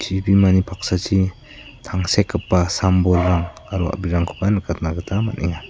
chibimani paksachi tangsekgipa sam-bolrang aro a·brirangkoba nikatna gita man·enga.